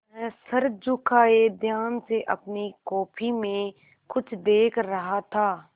वह सर झुकाये ध्यान से अपनी कॉपी में कुछ देख रहा था